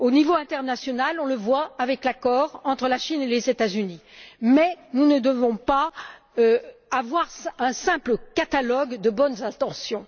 Au niveau international, on le voit avec l'accord entre la Chine et les États Unis, mais nous ne devons pas avoir un simple catalogue de bonnes intentions.